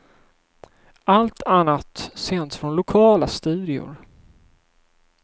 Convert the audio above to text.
Allt annat sänds från lokala studior.